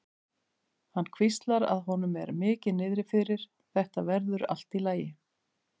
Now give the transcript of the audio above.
Hann hvíslar að honum og er mikið niðri fyrir: Þetta verður allt í lagi.